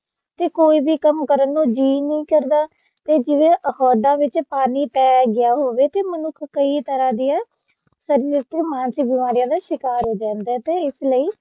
ਤੇ ਕੋਈ ਵੀ ਕੰਮ ਕਰਨ ਨੂੰ ਜੀ ਨਹੀਂ ਕਰਦਾ ਤੇ ਜਿਵੇ ਅਹੁਦਾ ਵਿਚ ਪਾਣੀ ਪੈ ਗਿਆ ਹੋਵੇ ਤੇ ਮਨੁੱਖ ਕਈ ਤਰ੍ਹਾਂ ਦੀਆ ਸਰੀਰਕ ਤੇ ਮਾਨਸਿਕ ਬਿਮਾਰੀਆਂ ਦਾ ਸ਼ਿਕਾਰ ਹੋ ਜਾਂਦਾ ਹੈ ਤੇ ਇਸ ਲਈ